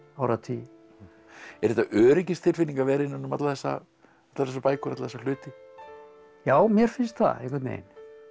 áratugi er þetta öryggistilfinning að vera innan um allar þessar bækur alla þessa hluti já mér finnst það einhvern veginn